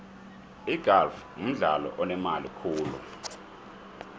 igalfu mdlalo onemali khulu